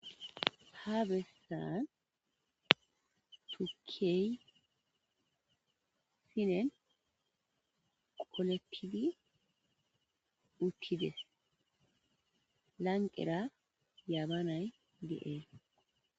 Ha bessan tuukey sinnen qoolettidi uttides lanqqera yabbanay de'essi.